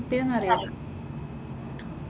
എവിടെയാ കിട്ടിയത് എന്നറിയില്ല.